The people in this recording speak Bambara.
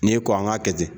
N'i ko an k'a kɛ ten